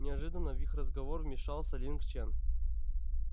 неожиданно в их разговор вмещался линг чен